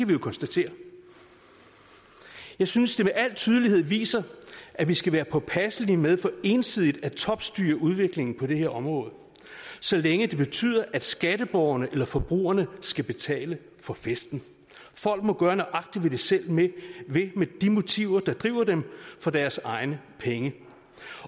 vi jo konstatere jeg synes det med al tydelighed viser at vi skal være påpasselige med for ensidigt at topstyre udviklingen på det her område så længe det betyder at skatteborgerne eller forbrugerne skal betale for festen folk må gøre nøjagtig hvad de selv vil med de motiver der driver dem for deres egne penge